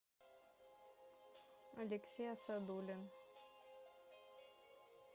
алексей асадулин